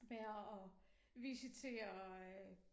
Ved at visitere øh